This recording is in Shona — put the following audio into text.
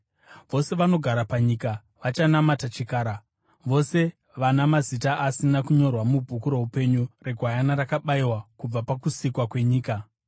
Vose vanogara panyika vachanamata chikara, vose vana mazita asina kunyorwa mubhuku roupenyu reGwayana rakabayiwa kubva pakusikwa kwenyika.